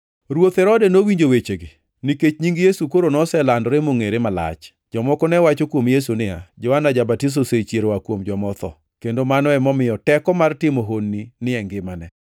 Ruoth Herode nowinjo wechegi, nikech nying Yesu koro noselandore mongʼere malach. Jomoko ne wacho kuom Yesu niya, “Johana Ja-batiso osechier oa kuom joma otho, kendo mano emomiyo teko mar timo honni ni e ngimane.”